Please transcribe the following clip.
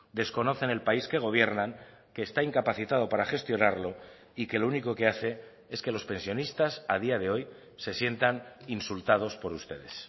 desconocen el país que gobiernan que está incapacitado para gestionarlo y que lo único que hace es que los pensionistas a día de hoy se sientan insultados por ustedes